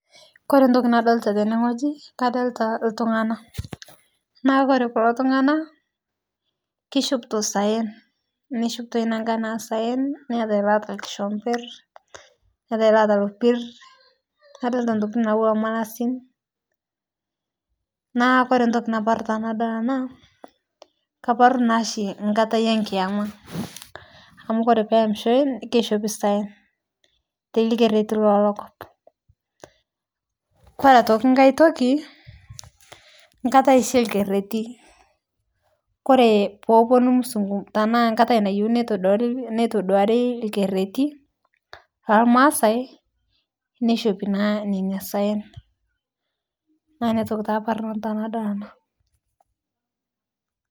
Kore ntoki nadolita teneng'oji kadolita ltung'ana, naa kore kuloo tung'ana keshopitoo sayen neshopitoi nankan eeh sayen neyatai loata lkishopir neyatai loata lopir nadolita ntokiti nawua malasin, naa kore ntoki naparuu tanadol anaa kaparu naashi nkatai enkiyama amu kore shii teneyemishoi keshopi sayen tee lkeretii lelokop, koree aitoki nkai tokii nkatai shii eekeretii koree poponu musungu tanaa nkatai nayeuni netoduari lkeretii lamaasai neshopii naa nenia sayen, naa niatoki taa aparu nanu tenadol anaa.